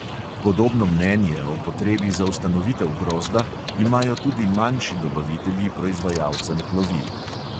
Podobno mnenje o potrebi za ustanovitev grozda imajo tudi manjši dobavitelji proizvajalcem plovil.